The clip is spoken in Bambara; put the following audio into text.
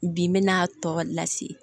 Bi n bɛna tɔ lase